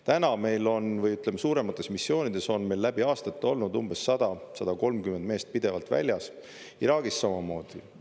Täna meil on või suuremates missioonides on meil läbi aastate olnud umbes 100–130 meest pidevalt väljas, Iraagis samamoodi.